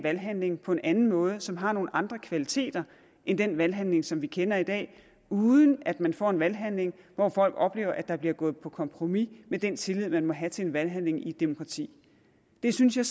valghandling på en anden måde som har nogle andre kvaliteter end den valghandling som vi kender i dag uden at man får en valghandling hvor folk oplever at der bliver gået på kompromis med den tillid man må have til en valghandling i et demokrati det synes jeg